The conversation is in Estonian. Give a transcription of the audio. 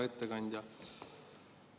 Hea ettekandja!